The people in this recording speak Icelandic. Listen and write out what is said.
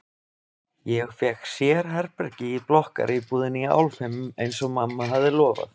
Ég fékk sérherbergi í blokkaríbúðinni í Álfheimum eins og mamma hafði lofað.